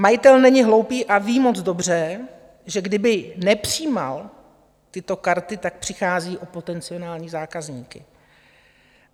Majitel není hloupý a ví moc dobře, že kdyby nepřijímal tyto karty, tak přichází o potenciální zákazníky.